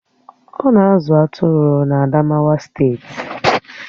Ọ̀ na-azụ atụrụ na Adamawa steeti